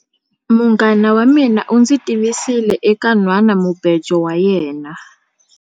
Munghana wa mina u ndzi tivisile eka nhwanamubejo wa yena.